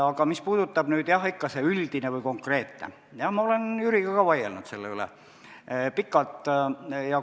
Aga mis puudutab ikka seda, et üldine või konkreetne, siis jah, ma olen Jüriga ka selle üle pikalt vaielnud.